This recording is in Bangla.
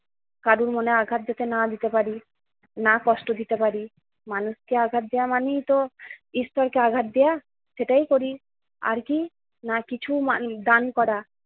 কারো মনে আঘাত যেন না দিতে পারি, না কষ্ট দিতে পারি, মানুষকে আঘাত দেওয়া মানেই তো ঈশ্বরকে আঘাত দেওয়া, সেটাই করি আর কি আর কিছু মানে দান করা।